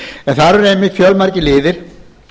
en þar eru einmitt fjölmargir liðir